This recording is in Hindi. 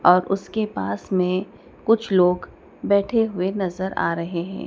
और उसके पास में कुछ लोग बैठे हुए भी नजर आ रहे है।